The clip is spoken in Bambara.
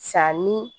Sa ni